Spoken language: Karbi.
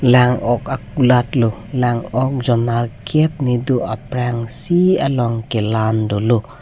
lang ok akulat lo lang ok jon nerkep ne do aprangsi along kelan dolo.